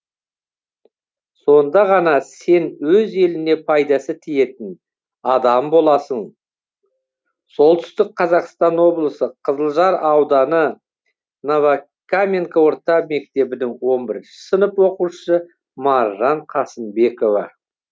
сонда ғана сен өз еліне пайдасы тиетін адам боласың солтүстік қазақстан облысы қызылжар ауданы новокаменка орта мектебінің он бірінші сынып оқушысы маржан қасымбекова